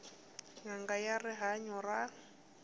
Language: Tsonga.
n anga ya rihanyu ra